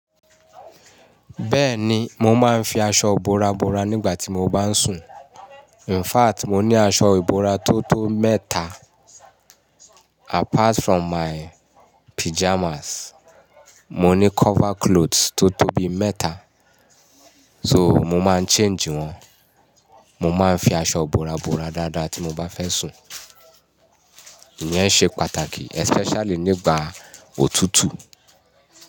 Bẹ́ẹ̀ni, mo máa ń fi aṣọ ìbora bora nígbà tí mo bá ń sùn. In fact, mo ní aṣọ ìbora tó tó mẹ́ta apart from my pyjamas. Mo ní cover cloth tó tó bi mẹ́ta, so mo máa ń change wọn. Mo máa ń fi aṣọ ìbora bora dáadáa tí mo bá fẹ́ sùn. Iyẹn ṣe pàtàkì especially nígbà òtútù.